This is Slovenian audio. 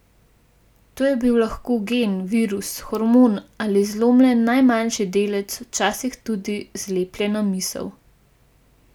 To je bil lahko gen, virus, hormon ali zlomljen najmanjši delec, včasih tudi zlepljena misel.